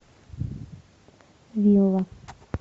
вилла